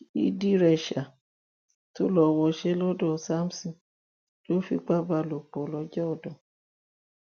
hidiréṣà tó lọ wọṣẹ́ lọ́dọ̀ samson ló fipá bá lò pọ lọ́jọ́ ọdún